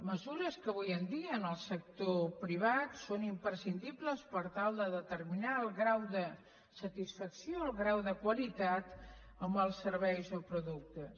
mesures que avui en dia en el sector privat són imprescindibles per tal de determinar el grau de satisfacció el grau de qualitat amb els serveis o productes